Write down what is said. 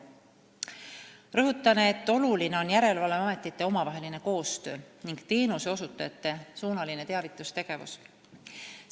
Rõhutan, et oluline on järelevalveametite omavaheline koostöö ning teenuseosutajate teavitustegevus.